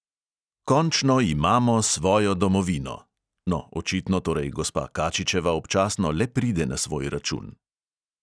Končno imamo svojo domovino (no, očitno torej gospa kačičeva občasno le pride na svoj račun).